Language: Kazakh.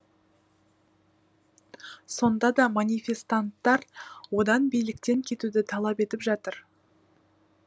сонда да манифестанттар одан биліктен кетуді талап етіп жатыр